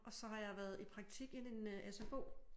Og så har jeg været i praktik i en sfo